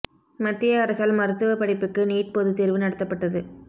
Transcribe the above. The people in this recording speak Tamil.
மத்திய அரசால் மருத்துவ படிப்புக்கு நீட் பொதுத் தேர்வு நடத்தப்பட்டது